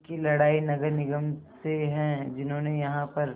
उनकी लड़ाई नगर निगम से है जिन्होंने यहाँ पर